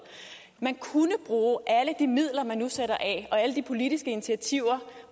man kunne bruge alle de midler man nu sætter af og alle de politiske initiativer